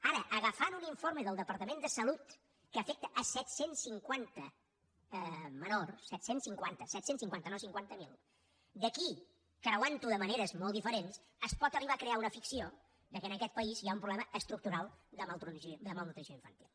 ara agafant un informe del departament de salut que afecta set cents i cinquanta menors set cents i cinquanta no cinquanta miler d’aquí creuantho de maneres molt diferents es pot arribar a crear una ficció que en aquest país hi ha un problema estructural de malnutrició infantil